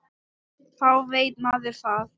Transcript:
Þá veit maður það.